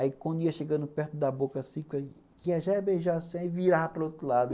Aí, quando ia chegando perto da boca, assim, ia já beijar assim e virar para o outro lado.